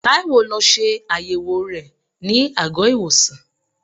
Taiwo lọ ṣe àyẹ̀wò rẹ ní àgọ́-ìwòsàn.